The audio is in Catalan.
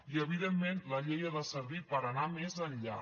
i evidentment la llei ha de servir per anar més enllà